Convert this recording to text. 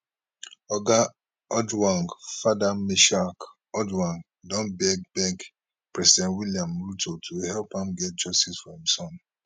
oga ojwang father meshack ojwang don beg beg president william ruto to help am get justice for im son